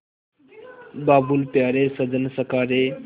बाबुल प्यारे सजन सखा रे